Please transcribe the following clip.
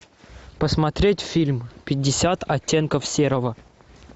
посмотреть фильм пятьдесят оттенков серого